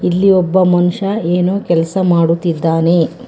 ಇಲ್ಲಿ ಒಬ್ಬ ಮನುಷ್ಯ ಏನೋ ಕೆಲಸ ಮಾಡುತ್ತಿದ್ದಾನೆ.